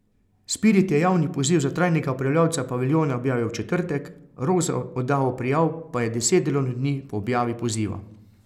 Spirit je javni poziv za trajnega upravljavca paviljona objavil v četrtek, rok za oddajo prijav pa je deset delovnih dni po objavi poziva.